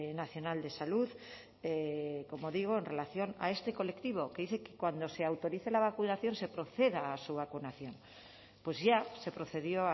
nacional de salud como digo en relación a este colectivo que dice que cuando se autorice la vacunación se proceda a su vacunación pues ya se procedió